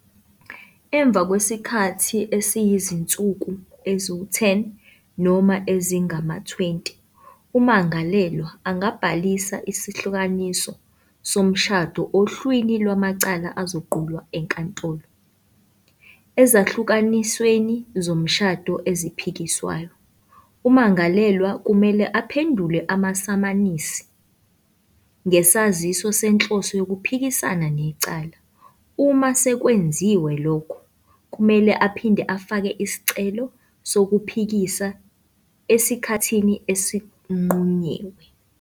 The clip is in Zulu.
Emuva kwesikhathi esiyizinsuku eziyi-10 noma ezingama-20, ummangalelwa angabhalisa isahlukaniso somshado ohlwini lwamacala azoqulwa enkantolo. Ezahlukanisweni zomshado eziphikiswayo, ummangalelwa kumele aphendule amasamanisi ngesaziso senhloso yokuphikisana necala. "Uma sekwenziwe lokho, kumele aphinde afake isicelo sokuphikisa esikhathini esinqunyiwe.